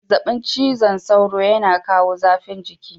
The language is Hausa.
Zazzabin cizon sauro yana kawo zafin jiki.